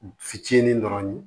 Fitinin dɔrɔn